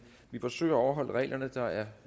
vi forsøger at overholde reglerne der er